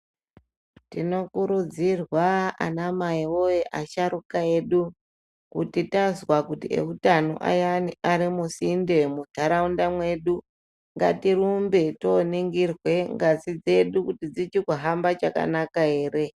Tinokurudzirwa anamai woye asharuka edu kuti tazwa kuti eutano ayana arimusinde munharaunda mwedu ngatirumbe toningirwa ngazi dzedu kuti dzichiri kuhamba chakanaka ere.